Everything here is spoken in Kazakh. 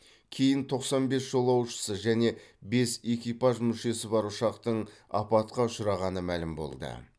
кейін тоқсан бес жолаушысы және бес экипаж мүшесі бар ұшақтың апатқа ұшырағаны мәлім болды